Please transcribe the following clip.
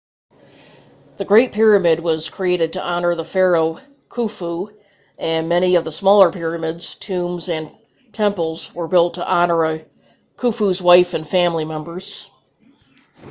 the great pyramid was created to honor the pharaoh khufu and many of the smaller pyramids tombs and temples were built to honor khufu's wives and family members